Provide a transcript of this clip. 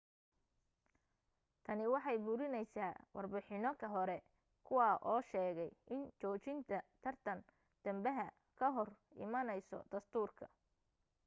tani waxay burinaysaa warbixinano hore kuwaa oo sheegay in joojinta tartan dambaha ka hor imaanayso dastuurka